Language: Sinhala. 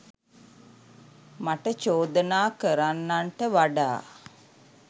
මට චෝදනා කරන්නන්ට වඩා